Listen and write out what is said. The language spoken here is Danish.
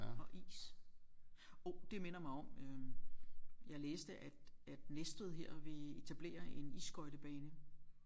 Og is hov det minder mig om øh jeg læste at at Næstved her vil etablere en isskøjtebane